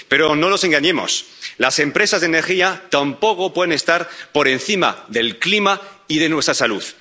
Pero no nos engañemos, las empresas de energía tampoco pueden estar por encima del clima y de nuestra salud.